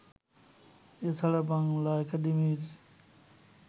এছাড়া বাংলা একাডেমির